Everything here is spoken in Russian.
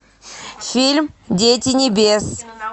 фильм дети небес